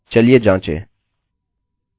हमें true मिला